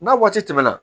N'a waati tɛmɛna